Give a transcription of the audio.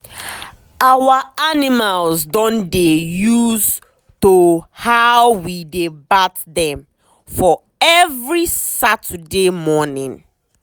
our animals don dey use to how we dey bath dem for every saturday morning.